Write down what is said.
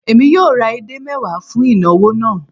Èmi yóò ra edé mẹ́wàá fún ìnawọ̀ náà